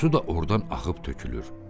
Su da ordan axıb tökülür.